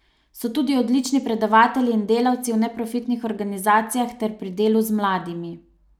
So tudi odlični predavatelji in delavci v neprofitnih organizacijah ter pri delu z mladimi.